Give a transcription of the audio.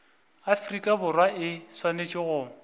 afrika borwa e swanetše go